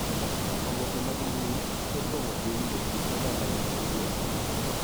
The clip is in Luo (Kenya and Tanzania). Oboke mag mbui opong'o piny e kit oganda ma kawuono